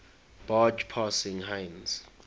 barge passing heinz